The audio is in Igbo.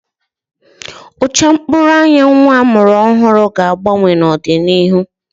Ụcha mkpụrụ anya nnwa a mụrụ ọhụrụ ga-agbanwe n'ọdịnihu